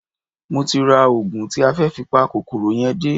Mo ti ra oògùn tí a fẹ́ fi pa kòkòrò yẹn dé